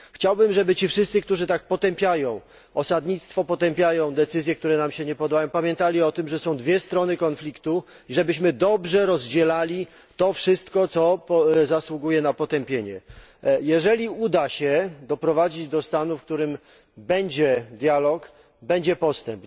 Chciałbym, by ci wszyscy, którzy tak potępiają osadnictwo, potępiają decyzje, które nam się nie podobają, pamiętali, że są dwie strony konfliktu, żebyśmy dobrze rozdzielali to wszystko, co zasługuje na potępienie jeżeli uda się doprowadzić do stanu, w którym będzie dialog, będzie postęp.